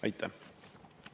Aitäh!